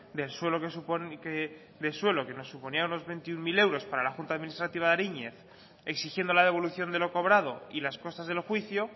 del suelo que nos suponía unos veintiuno mil euros para la junta administrativa de ariñez exigiendo la devolución de lo cobrado y las costas del juicio